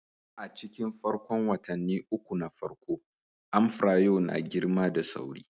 A cikin farkon watanni uku na farko, amfrayo na girma da sauri